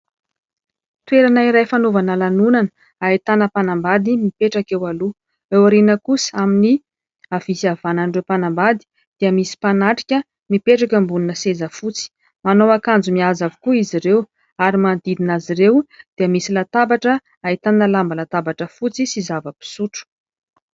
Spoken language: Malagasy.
Toerana iray fanaovana lanonana. Ahitana mpanambady mipetraka eo aloha, eo aoriana kosa, amin'ny havia sy havanan'ireo mpanambady dia misy mpanatrika mipetraka ambonina seza fotsy. Manao akanjo mihaja avokoa izy ireo ary manodidina azy ireo dia misy latabatra ahitana lamba latabatra fotsy sy zava-pisotro.